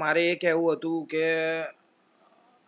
મારે એ કેવું હતું કે